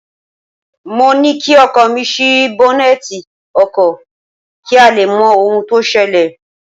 Mo ní kí ọkọ mi ṣí bọ́nẹ́tì ọkọ̀ kí a lè mọ ohun tó ṣẹlẹ̀